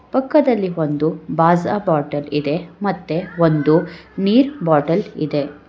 ಪಕ್ಕದಲ್ಲಿ ಒಂದು ಬಾಜಾ ಬಾಟಲ ಇದೆ ಮತ್ತೆ ಒಂದು ನೀರ ಬಾಟಲ ಇದೆ.